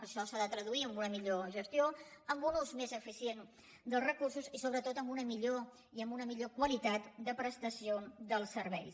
això s’ha de traduir en una millor gestió en un ús més eficients dels recursos i sobretot en una millor qualitat de prestació dels serveis